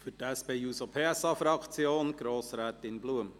Für die SP-JUSO-PSA-Fraktion: Grossrätin Blum.